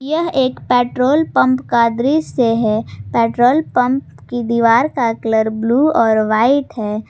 यह एक petrol pump का दृश्य है पेट्रोल पंप की दीवार का कलर ब्ल्यू और वाइट है।